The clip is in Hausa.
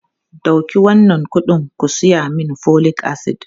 Dauki wannan kuɗin ku saya min folic acid!